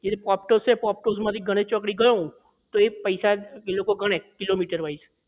એટલે જે poptus છે poptus માંથી ગણેશ ચોકડી ગયો એ જ પૈસા એ લોકો ગણે કિલોમીટર wise